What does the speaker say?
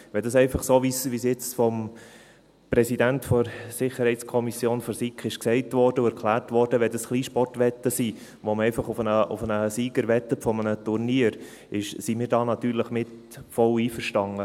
Wenn dies einfach Kleinsportwetten sind, wie es vom Präsidenten der SiK gesagt und erklärt wurde, bei denen man einfach auf den Sieger eines Turniers wettet, sind wir natürlich völlig damit einverstanden.